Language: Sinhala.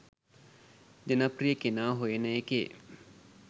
ජනප්‍රිය කෙනා හොයන එකේ